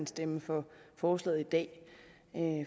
stemme for forslaget i dag